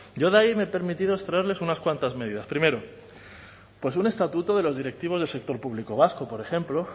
yo de ahí me he permitido extraerles unas cuantas medidas primero un estatuto de los directivos del sector público vasco por ejemplo